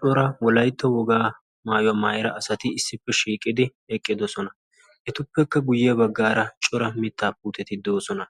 Cora wolayitta wogaa maayuwa mayida asati issippe shiiqidi eqqidosona. Etuppekka guyye baggaara cora mittaa puuteti de'oosona.